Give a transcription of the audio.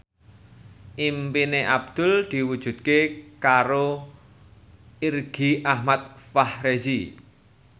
impine Abdul diwujudke karo Irgi Ahmad Fahrezi